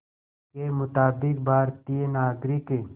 के मुताबिक़ भारतीय नागरिक